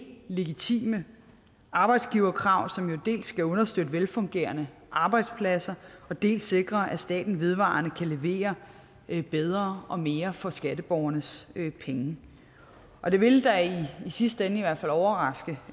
legitime arbejdsgiverkrav som jo dels skal understøtte velfungerende arbejdspladser dels sikre at staten vedvarende kan levere bedre og mere for skatteborgernes penge og det vil da i sidste ende i hvert fald overraske